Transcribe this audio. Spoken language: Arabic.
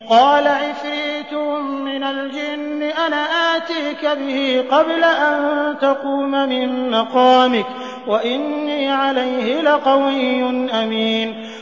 قَالَ عِفْرِيتٌ مِّنَ الْجِنِّ أَنَا آتِيكَ بِهِ قَبْلَ أَن تَقُومَ مِن مَّقَامِكَ ۖ وَإِنِّي عَلَيْهِ لَقَوِيٌّ أَمِينٌ